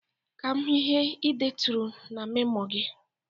Ka m hụ ihe ị deturu n'memo gị